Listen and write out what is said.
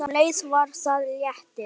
Um leið var það léttir.